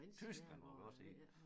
Tyskland var vi også i